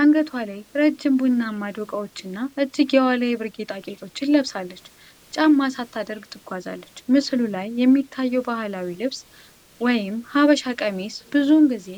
አንገቷ ላይ ረጅም ቡናማ ዶቃዎችና እጅጌዋ ላይ የብር ጌጣጌጦችን ለብሳ፣ ጫማ ሳታደርግ ትጓዛለች። ምስሉ ላይ የሚታየው ባህላዊ ልብስ (ሐበሻ ቀሚስ) ብዙውን ጊዜ